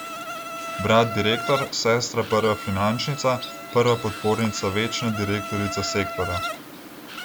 Brat direktor, sestra prva finančnica, prva podpornica večna direktorica sektorja.